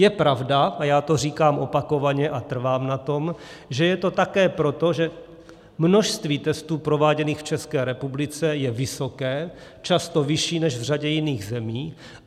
Je pravda, a já to říkám opakovaně a trvám na tom, že je to také proto, že množství testů prováděných v České republice je vysoké, často vyšší než v řadě jiných zemí.